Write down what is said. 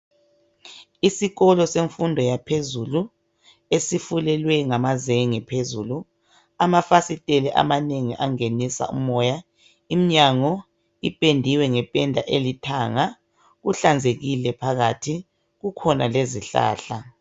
Isikolo semfundo yaphezulu esifulelwe ngamazenge phezulu amafasiteli amanengi angenisa umoya imnyango ipendiwe ngependa elithanga kuhlanzekile phakathi kukhona lezihlahla.